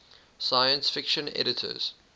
science fiction editors